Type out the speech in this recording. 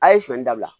A ye sɔɔni dabila